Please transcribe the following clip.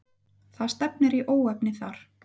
Það stefnir í óefni þar.